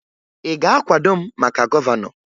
Ị ga-akwado m maka gọvanọ?